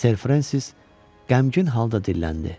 Ser Frensis qəmgin halda dilləndi: